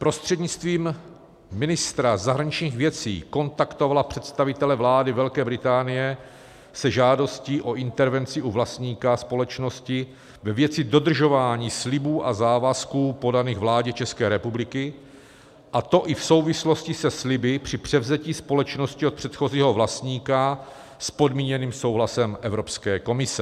- prostřednictvím ministra zahraničních věcí kontaktovala představitele vlády Velké Británie se žádostí o intervenci u vlastníka společnosti ve věci dodržování slibů a závazků podaných vládě České republiky, a to i v souvislosti se sliby při převzetí společnosti od předchozího vlastníka s podmíněným souhlasem Evropské komise;